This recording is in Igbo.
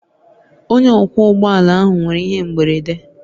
Onye ọkwọ ụgbọ ala ahụ nwere ihe mberede